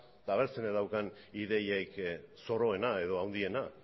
eta ea zeinek daukan ideiarik zoroena edo handiena